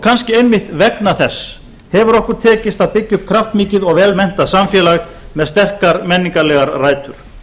kannski einmitt vegna þess hefur okkur tekist að byggja upp kraftmikið og vel menntað samfélag með sterkar menningarlegar rætur